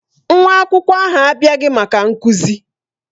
Nwa akwụkwọ ahụ abịaghị maka nkuzi.